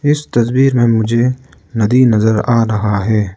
इस तस्वीर में मुझे नदी नजर आ रहा है।